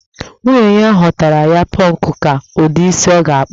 Nwunye ya họọtara ya pọnkụ ka ụdị isi ọ ga-akpụ